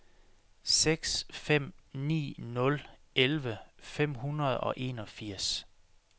seks fem ni nul elleve fem hundrede og enogfirs